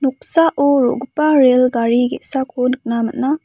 noksao ro·gipa rel gari ge·sako nikna man·a.